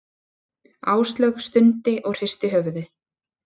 Áslaug stundi og hristi höfuðið.